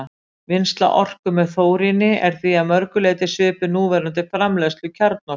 Vinnsla orku með þóríni er því að mörgu leyti svipuð núverandi framleiðslu kjarnorku.